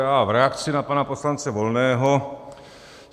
Já v reakci na pana poslance Volného.